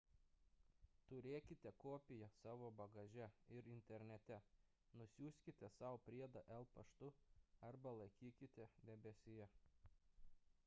turėkite kopiją savo bagaže ir internete nusiųskite sau priedą el. paštu arba laikykite debesyje